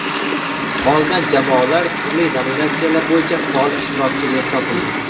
Qolgan jamoalar turli nominatsiyalar bo‘yicha faol ishtirokchi deb topildi.